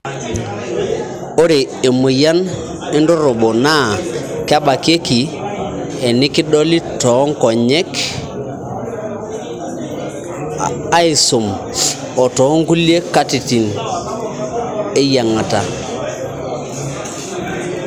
ore emoyian endoropo naa kebakieki enikidoli toonkongek aisum oo too nkulie katitin eyiangata